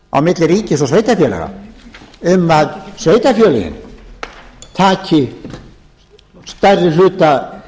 á milli ríkis og sveitarfélaga um að sveitarfélögin taki stærri hluta